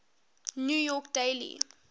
new york daily